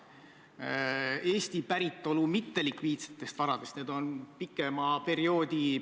Kui ma ei eksi, siis oli see nii vist kuni 2000. aasta suveperioodini.